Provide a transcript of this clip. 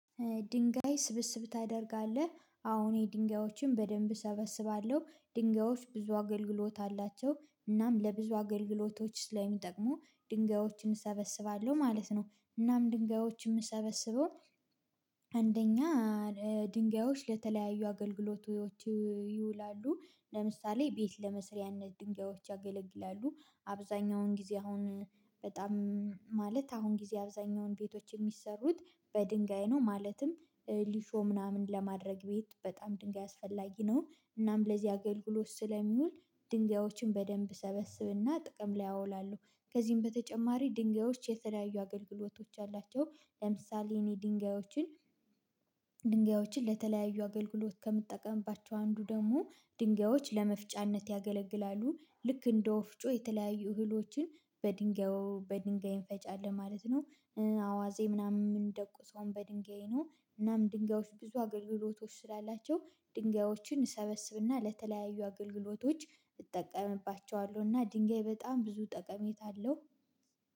ድንጋይ ስብስብ ታደርጋለህ አዎን የድንጋዮችን በደንብ እሰበስባለሁ ድንጋዮች ብዙ አገልግሎት አላቸው እናም ለብዙ አገልግሎቶች ስለሚጠቅሙ ድንጋዮችን እሰበስባለሁ ማለት ነው። እናም ድንጋዮች የምሰበስበው አንደኛ ድንጋዮች ለተለያዩ አገልግሎቶች ይውላሉ። ለምሳሌ ቤት ለመስሪያነት ድንጋዮች ያገለግላሉ። አብዛኛውን ጊዜ አሁን በጣም ማለት አሁን ጊዜ አብዛኛውን ቤቶች የሚሰሩት በድንጋይ ነው ማለትም ሊሾም ምናምን ለማድረግ ቤት በጣም ድንጋይ አስፈላጊ ነው። እናም ለዚህ አገልግሎት ስለሚውል ድንጋዮችን በደንብ እሰበስብና ጥቅም ላይ አውላለሁ። ከዚህም በተጨማሪ ድንጋዮች የተለያዩ አገልግሎቶች አላቸው። ለምሳሌ የኔ ድንጋዮችን ድንጋዮችን ለተለያዩ አገልግሎት ከምትጠቀምባቸው አንዱ ደግሞ ድንጋዮች ለመፍጫነት ያገለግላሉ። ልክ እንደ ወፍጮ የተለያዩ እህሎችን በድንጋዩ በድንጋይ እንፈጫለን ማለት ነው። አዋዜ ምናምን የምንደቁሰውን በድንጋይ ነው። ምናምን ድንጋዮች ብዙ አገልግሎቶች ስላላቸው ድንጋዮችን እሰበስብና ለተለያዩ አገልግሎቶች እጠቀምባቸዋለው። እና ድንጋይ በጣም ብዙ ጠቀሜታ አለው።